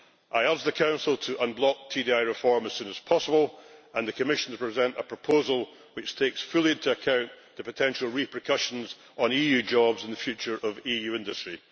I asked the Council to unblock TDI reform as soon as possible and the Commission to present a proposal which takes fully into account the potential repercussions on EU jobs and the future of EU industry.